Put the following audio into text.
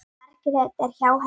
Margrét er hjá henni.